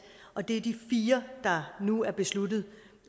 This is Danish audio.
og det er de fire der nu er besluttet